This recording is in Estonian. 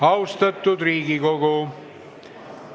Austatud Riigikogu!